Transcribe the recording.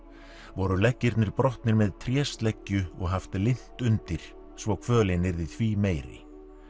voru leggirnir brotnir með og haft lint undir svo kvölin yrði því meiri